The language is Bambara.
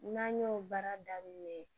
N'an y'o baara daminɛ